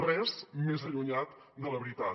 res més allunyat de la veritat